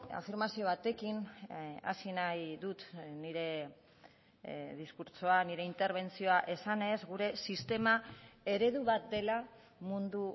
afirmazio batekin hasi nahi dut nire diskurtsoa nire interbentzioa esanez gure sistema eredu bat dela mundu